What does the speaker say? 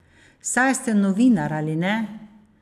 Saj ste novinar, ali ne?